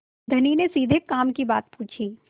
धनी ने सीधे काम की बात पूछी